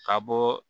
Ka bɔ